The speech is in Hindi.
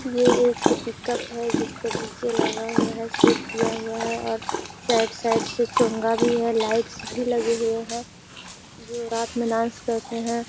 ये एक पिक्क्प है। जिसपे डी.जे. लगा हुआ है। सेट किया हुआ है और साइड साइड से भी है। लाइट्स भी लगी हुई हैं जो रात में डांस करते हैं।